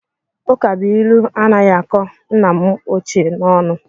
Ụkabụilu anaghị akọ nna m ochie n'ọnụ